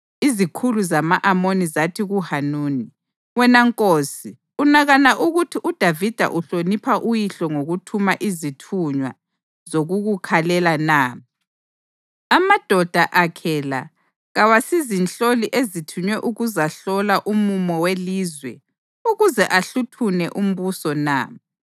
izikhulu zama-Amoni zathi kuHanuni, “Wena nkosi unakana ukuthi uDavida uhlonipha uyihlo ngokuthuma izithunywa zokukukhalela na? Amadoda akhe la kawasizinhloli ezithunywe ukuzahlola umumo welizwe ukuze ahluthune umbuso na?”